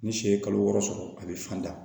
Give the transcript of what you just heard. Ni si ye kalo wɔɔrɔ sɔrɔ a bɛ fan da